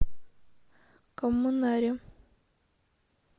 коммунаре